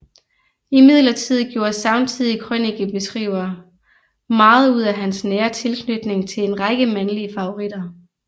Imidlertid gjorde samtidige krønikeskrivere meget ud af hans nære tilknytning til en række mandlige favoritter